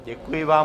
Děkuji vám.